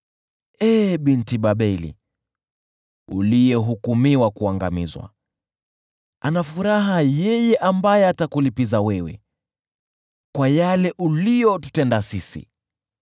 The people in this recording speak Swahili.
Ee binti Babeli, uliyehukumiwa kuangamizwa, heri yeye atakayekulipiza wewe kwa yale uliyotutenda sisi: